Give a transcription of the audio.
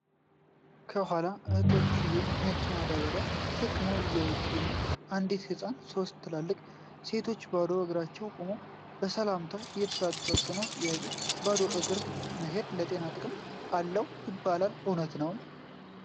ከኋላ አህዬች ነጭ ማዳበርያ ተሸክመው እየመጡ ነው ፤ አንዲት ሕፃን ሶስት ትላልቅ ሴቶች ባዶ እግራቸውን ቆመው ሰላምታ እየተሰጣጡ ነው ፤ ጥያቄ:- ባዶ እግር መሔድ ለጤና ጥቅም አለው ይባላል እውነት ነው?